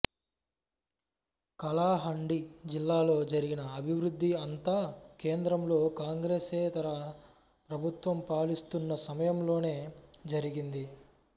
కలాహండి జిల్లాలో జరిగిన అభివృద్ధి అంతా కేంద్రంలో కాంగ్రెసేతర ప్రభుత్వం పాలిస్తున్న సమయంలోనే జరిగింది